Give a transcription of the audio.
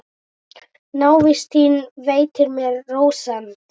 Návist þín veitir mér rósemd.